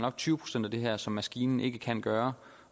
er tyve procent af det her som maskinen ikke kan gøre